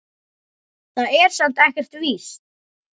Það er samt ekkert víst.